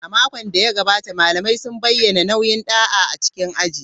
A makon da ya gabata, malamai sun bayyana nauyin da'a a cikin aji.